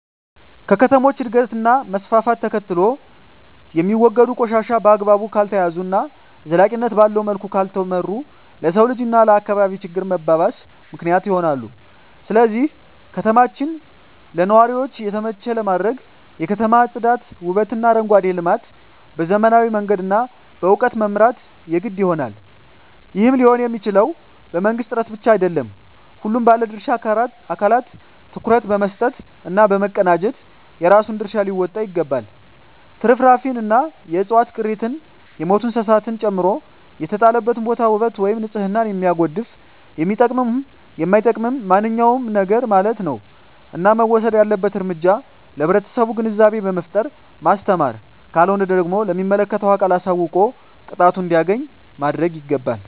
ከከተሞች እድገት እና መስፍፍት ተከትሎየሚወገዱ ቆሻሻ በአግባቡ ካልተያዘ እና ዘላቂነት ባለዉ መልኩ ካልተመራ ለሰዉ ልጅ እና ለአካባቢ ችግር መባባስ ምክንያት ይሆናል ስለዚህ ከተማችን ለነዋሪዎች የተመቸ ለማድረግ የከተማ ፅዳት ዉበትእና አረንጓዴ ልማት በዘመናዊ መንገድ እና በእዉቀት መምራት የግድ ይሆናል ይህም ሊሆንየሚችለዉ በመንግስት ጥረት ብቻ አይደለም ሁሉም ባለድርሻ አካላት ትኩረት በመስጠት እና በመቀናጀት የራሱን ድርሻ ሊወጣ ይገባል ትርፍራፊንእና የዕፅዋት ቅሪትን የሞቱ እንስሳትን ጨምሮ የተጣለበትን ቦታ ዉበት ወይም ንፅህናን የሚያጎድፍ የሚጠቅምም የማይጠቅምም ማንኛዉም ነገርማለት ነዉ እና መወሰድ ያለበት እርምጃ ለህብረተሰቡ ግንዛቤ በመፍጠር ማስተማር ካልሆነ ደግሞ ለሚመለከተዉ አካል አሳዉቆ ቅጣቱን እንዲያገኝ ማድረግይገባል